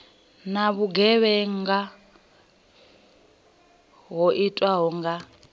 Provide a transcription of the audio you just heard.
na vhugevhenga ho itwaho kha